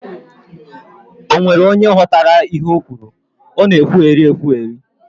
Ọ nwere onye ghọtara ihe ọ kwuru? Ọ na ekwugheri ekwugheri